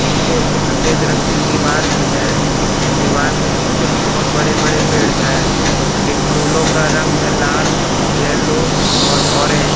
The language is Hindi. पीछे एक सफेद रंग की दीवार भी है दीवार के पीछे भी बहोत बड़े बड़े पेड़ है इन फूलों का रंग है लाल येलो और ऑरेंज ।